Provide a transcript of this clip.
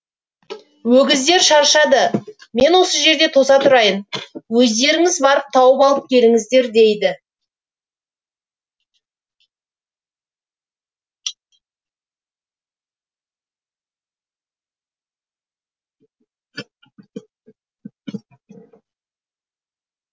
өгіздер шаршады мен осы жерде тоса тұрайын өздеріңіз барып тауып алып келіңіздер дейді